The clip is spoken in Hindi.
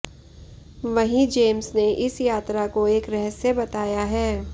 वहीं जेम्स ने इस यात्रा को एक रहस्य बताया है